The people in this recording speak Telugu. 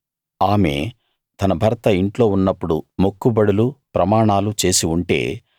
ఆమె తన భర్త ఇంట్లో ఉన్నప్పుడు మొక్కుబడులు ప్రమాణాలు చేసి ఉంటే